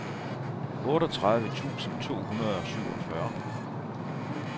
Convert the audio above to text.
otteogtredive tusind to hundrede og syvogfyrre